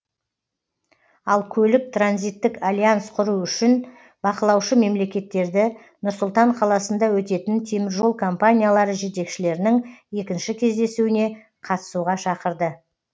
ал көлік транзиттік альянс құру үшін бақылаушы мемлекеттерді нұр сұлтан қаласында өтетін теміржол компаниялары жетекшілерінің екінші кездесуіне қатысуға шақырды